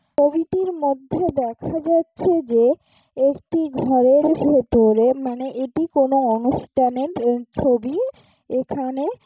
ছবিটির মধ্যে দেখা যাচ্ছে যে একটি ঘরের ভেতরে মানে এটি কোনো অনুষ্ঠানের ছবি। এখানে--